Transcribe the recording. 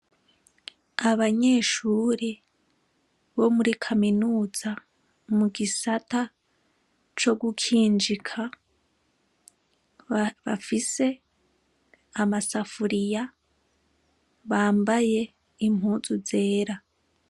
Abanyeshure bo muri kaminuza mu gisata co gukinjika, bafise amasafuriya, bambaye impuzu zera.